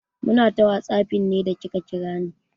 Muna ta whatsapping ne da kika kira ni.